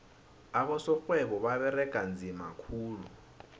abosorhwebo baberega nzima khulu